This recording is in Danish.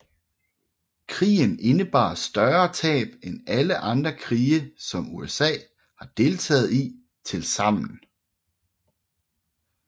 Krigen indebar større tab end alle andre krige som USA har deltaget i tilsammen